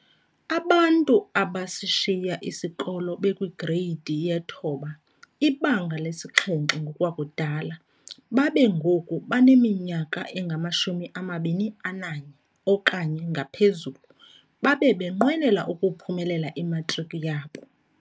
Abantu abasishiya isikolo bekwi-Greyidi ye-9, iBanga lesi-7 ngokwakudala, babe ngoku baneminyaka engama-21 okanye ngaphezulu, babe benqwenela ukuphumelela imatriki yabo.